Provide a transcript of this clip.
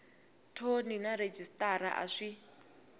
thoni na rhejisitara a swi